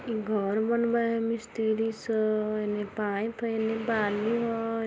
इ घर बनबे हय मिस्त्री सब एन्ने पाइप है एन्ने बालू हेय